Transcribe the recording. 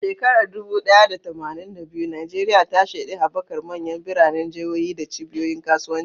A shekarar dubu ɗaya da tamanin da biyu, Najeriya ta shaidi haɓakar manyan biranen jihohi da cibiyoyin kasuwanci.